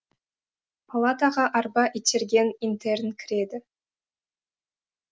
палатаға арба итерген интерн кіреді